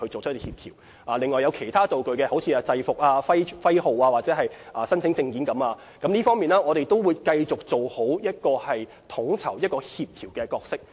至於其他道具，例如制服、部門徽號或證件等，我們亦會繼續做好統籌、協調角色。